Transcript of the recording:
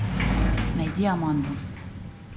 найди аманду